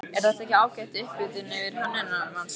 Er þetta ekki ágæt upphitun fyrir Hönnunarmars, Gunnar?